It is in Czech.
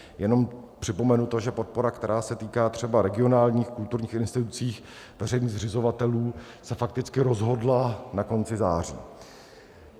Jenom připomenu to, že podpora, která se týká třeba regionálních kulturních institucí veřejných zřizovatelů, se fakticky rozhodla na konci září.